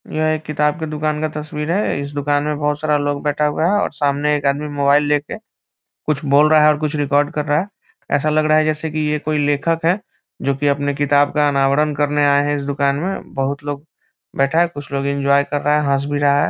यहाँ एक किताब के दुकान का तस्वीर है इस दुकान में बहुत सारा लोग बैठा हुआ हैं और सामने एक आदमी मोबाईल ले के कुछ बोल रहा है और कुछ रिकॉर्ड कर रहा है ऐसा लग रहा है जैसा की ये कोई लेखक है जो की अपने किताब का अनावरण करने आए हैं इस दुकान में बहुत लोग बैठा हैं कुछ लोग एन्जॉय कर रहा है हंस भी रहा है ।